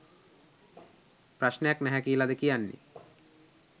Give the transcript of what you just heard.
ප්‍රශ්නයක් නැහැ කියලද කියන්නේ?